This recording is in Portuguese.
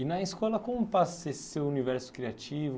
E na escola, como passa esse seu universo criativo?